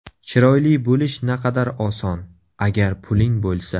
Chiroyli bo‘lish naqadar oson, agar puling bo‘lsa.